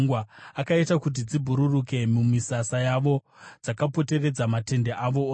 Akaita kuti dziburukire mumisasa yavo, dzakapoteredza matende avo ose.